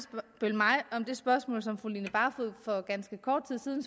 så det spørgsmål som fru line barfod for ganske kort tid siden